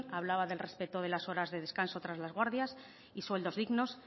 hablaba del respeto de las horas de descanso tras las guardias y sueldos dignos